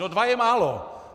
No dva je málo.